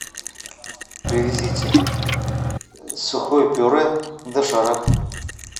привезите сухое пюре доширак